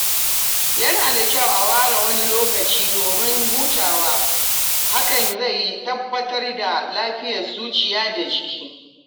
Yana da Kyau a ware wani Lokacin domin hutawa, hakan zai tabbatar da lafiyar zuciya da jiki.